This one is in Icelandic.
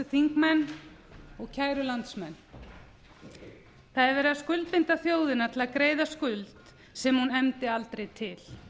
þingmenn og kæru landsmenn það er verið að skuldbinda þjóðina til að greiða skuld sem hún efndi aldrei til